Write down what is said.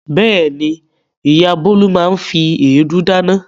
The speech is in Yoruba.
Bẹ́ẹ̀ni, ìyá Bólú máa fi èédú dáná.